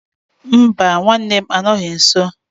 Mba, nwanne m anọghị nso.